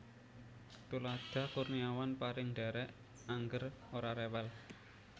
Tuladha Kurniawan pareng ndhèrèk angger ora rewel